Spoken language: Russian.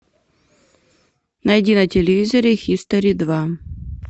найди на телевизоре хистори два